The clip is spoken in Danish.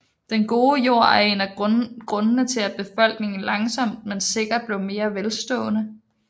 Den gode jord er en af grundene til at befolkningen langsomt men sikkert blev mere velstående